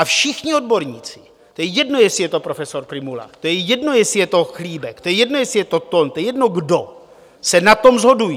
A všichni odborníci, to je jedno, jestli je to profesor Prymula, to je jedno, jestli je to Chlíbek, to je jedno, jestli je to Thon, to je jedno kdo, se na tom shodují.